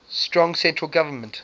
strong central government